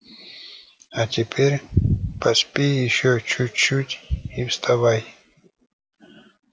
а теперь поспи ещё чуть чуть и вставай